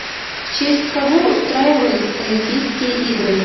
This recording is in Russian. в честь кого устраивались олимпийские игры